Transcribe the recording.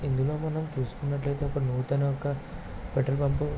ఇందులో మనం చూస్కున్నట్లైతే ఒక నూతన ఒక పెట్రోల్ బంకు .